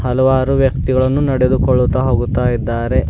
ಹಲವಾರು ವ್ಯಕ್ತಿಗಳನ್ನು ನಡೆದುಕೊಳ್ಳುತ್ತಾ ಹೋಗುತ್ತಾ ಇದ್ದಾರೆ.